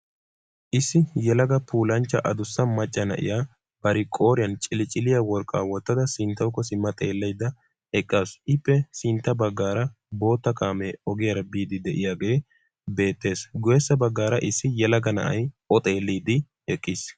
Issi yelaga puulanchchaa addussa macca na'iya ba qooriyan cilicciliya worqqaa wottada sinttawkko simmada xeelaydda eqqaasu. Ippe sintta baggaara bootta kaamee ogiyaara biidi de'iyagee beettees, haddirssa baggaara issi yelaga na'iya o xeeliyidi eqqiis.